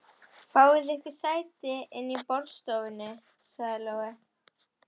Fáið ykkur sæti inni í borðstofu, sagði Lóa.